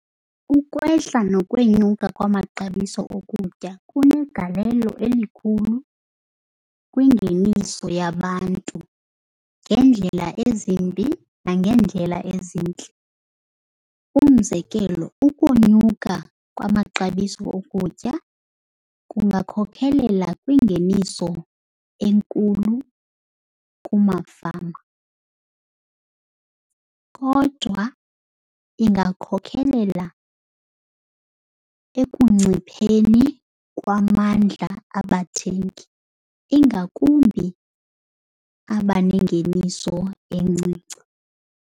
Ukwehla nokwenyuka kwamaxabiso okutya kunegalelo elikhulu kwingeniso yabantu ngeendlela ezimbi nangeendlela ezintle. Umzekelo, ukonyuka kwamaxabiso okutya kungakhokhelela kwingeniso enkulu kumafama kodwa ingakhokhelela ekuncipheni kwamandla abathengi, ingakumbi abanengeniso encinci.